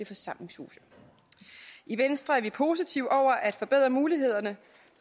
forsamlingshuse i venstre er vi positive over for at forbedre mulighederne